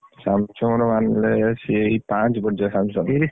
Samsung ର ଆଣିଲେ ସେଇ, ପାଞ୍ଚ ପଡିଯିବ Samsung